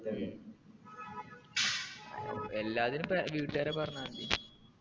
ഉം എല്ലാത്തിനും ട്രെ ഏർ വീട്ടുകാരെ പറഞ്ഞാ മതി